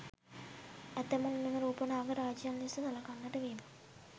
ඇතමුන් මෙම රූප නාග රාජයන් ලෙස සළකන්නට වීම